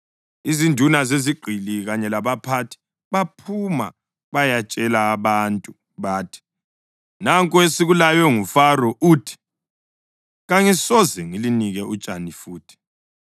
Izinduna zezigqili kanye labaphathi baphuma bayatshela abantu bathi, “Nanku esikulaywe nguFaro, uthi, ‘Kangisoze ngilinike utshani futhi.